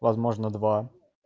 возможно два